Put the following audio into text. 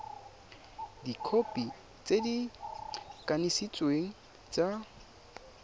dikhopi tse di kanisitsweng tsa